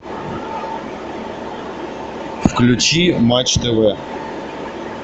включи матч тв